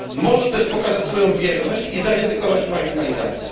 Może też pokazać swoją bierność i zaryzykować marginalizację.